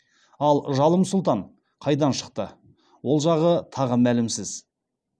ал жалым сұлтан қайдан шықты ол жағы тағы мәлімсіз